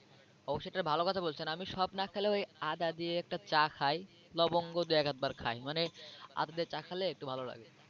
অবশ্যই একটা ভালো কথা বলছেন আমি সব না খেলেও ঐ আদা দিয়ে একটা চা খাই লবঙ্গ দিয়ে এক আধবার খায় মানে আদা দিয়ে চা খেলে একটু ভালো লাগে।